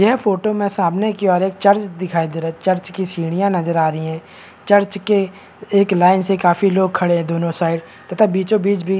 यह फोटो के सामने की ओर एक चर्च दिखाई दे रहा है चर्च की सीढ़ियां नजर आ रही हैं चर्च के के एक लाइन से काफी लोग खड़े हैं दोनों साइड तथा बीचों बीच भी --